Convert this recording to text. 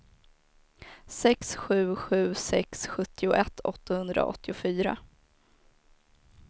sex sju sju sex sjuttioett åttahundraåttiofyra